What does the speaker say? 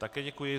Ano, děkuji.